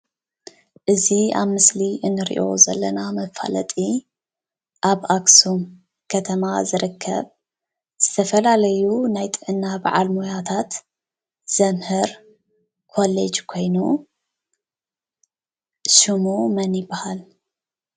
እዚ ኣብ ምስሊ እንሪኦ ዘለና መፋለጢ ኣብ አክሱም ከተማ ዝርከብ ዝተፈላለዩ ናይ ጥዕና ባዓል ሞያታት ዘምህር ኮሌጅ ኮይኑ ሽሙ መን ይበሃል?